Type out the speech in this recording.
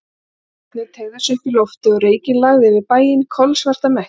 Gulir logarnir teygðu sig upp í loftið og reykinn lagði yfir bæinn, kolsvarta mekki.